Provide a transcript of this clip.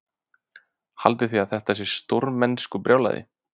Haldiði að þetta sé stórmennskubrjálæði?